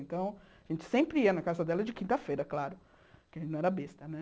Então, a gente sempre ia na casa dela de quinta-feira, claro, porque não era besta.